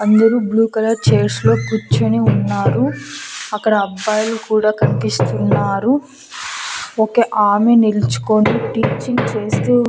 అందరూ blue colour chairs లో కుచ్చొని ఉన్నారు అక్కడ అబ్బాయిలు కూడా కన్పిస్తున్నారు ఒక ఆమె నిల్చుకొని టీచింగ్ చేస్తూ--